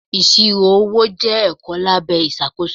Ìṣirò owó jẹ́ ẹ̀kọ́ lábẹ́ ìṣàkóso.